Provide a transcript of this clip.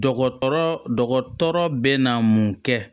Dɔgɔtɔrɔ dɔgɔtɔrɔ bɛ na mun kɛ